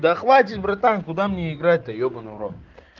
да хватит братан куда мне играть да ебанный в рот